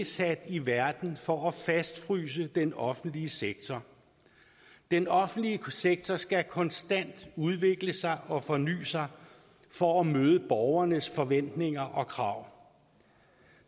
sat i verden for at fastfryse den offentlige sektor den offentlige sektor skal konstant udvikle sig og forny sig for at møde borgernes forventninger og krav